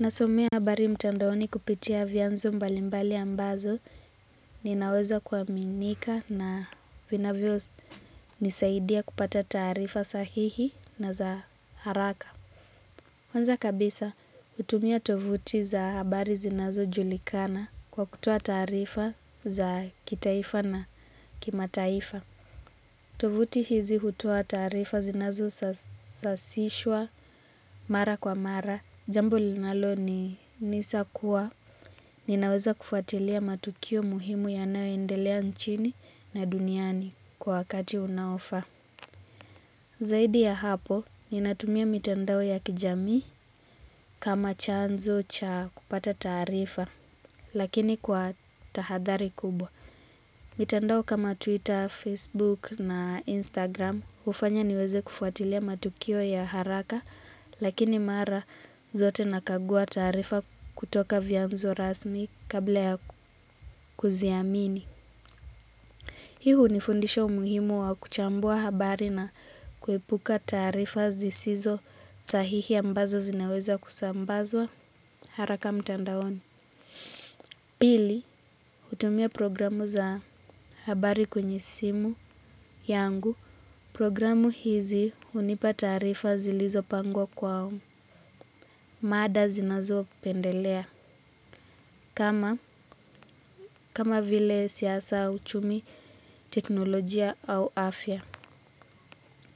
Nasomea habari mtandaoni kupitia vyanzo mbalimbali ambazo ninaweza kuaminika na vinavyo nisaidia kupata taarifa sahihi na za haraka. Kwanza kabisa hutumia tovuti za habari zinazo julikana kwa kutoa taarifa za kitaifa na kimataifa. Tovuti hizi hutoa taarifa zinazo sasishwa mara kwa mara. Jambo linalo ni nisa kuwa ninaweza kufuatilia matukio muhimu yanayoendelea nchini na duniani kwa wakati unaofa. Zaidi ya hapo ninatumia mitandao ya kijamii kama chanzo cha kupata taarifa lakini kwa tahadhari kubwa. Mitandao kama Twitter, Facebook na Instagram hufanya niweze kufuatilia matukio ya haraka lakini mara zote nakagua tarifa kutoka vyanzo rasmi kabla ya kuziamini. Hii hunifundisha umuhimu wa kuchambua habari na kuepuka taarifa zisizo sahihi ambazo zinaweza kusambazwa haraka mtandaoni. Pili, hutumia programu za habari kwenye simu yangu. Programu hizi hunipa taarifa zilizopangwa kwa. Mada zinazo pendelea. Kama, kama vile siasa, uchumi, teknolojia au afya.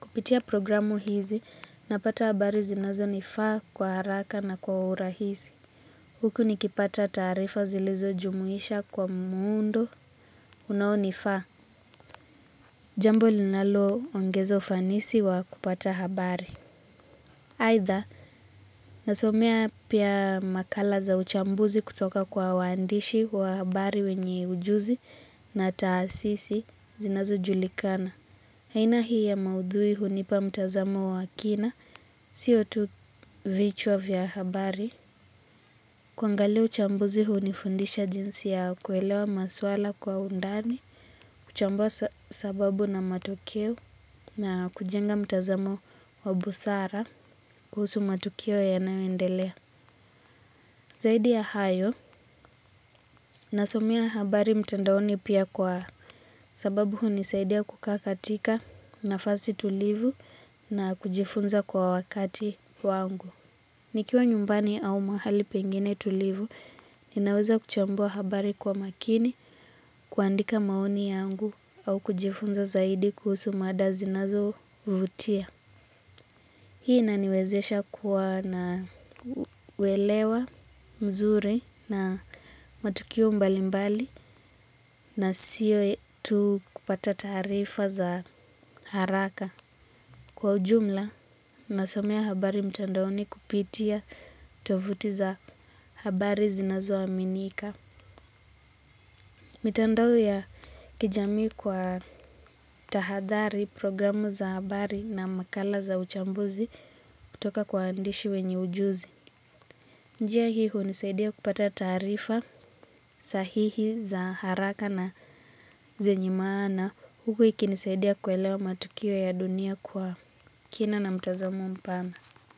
Kupitia programu hizi, napata habari zinazoni faa kwa haraka na kwa urahisi. Huku nikipata taarifa zilizo jumuisha kwa muundo, unao ni faa. Jambo linaloongeza ufanisi wa kupata habari. Aidha, nasomea pia makala za uchambuzi kutoka kwa waandishi wa habari wenye ujuzi na taasisi zinazo julikana. Aina hii ya maudhui hunipa mtazamo wa kina, sio tu vichwa vya habari. Kuangali uchambuzi hunifundisha jinsi ya kuelewa maswala kwa undani. Kuchambua sababu na matokeo na kujenga mtazamo wa busara kuhusu matokeo ya nayoendelea. Zaidi ya hayo nasomea habari mtandaoni pia kwa sababu hunisaidia kukaa katika nafasi tulivu na kujifunza kwa wakati wangu. Nikiwa nyumbani au mahali pengine tulivu, ninaweza kuchambua habari kwa makini kuandika maoni yangu au kujifunza zaidi kuhusu mada zinazo vutia. Hii inaniwezesha kuwa na uelewa mzuri na matukio mbali mbali na sio tu kupata taarifa za haraka. Kwa ujumla, nasomea habari mtandaoni kupitia tovuti za habari zinazoaminika. Mitandao ya kijamii kwa tahadhari programu za habari na makala za uchambuzi kutoka kwa waandishi wenye ujuzi. Njia hi hunisaidia kupata taarifa sahihi za haraka na zenye maana. Huku ikinisaidia kuelewa matukio ya dunia kwa kina na mtazamo mpana.